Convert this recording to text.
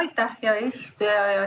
Aitäh, hea eesistuja!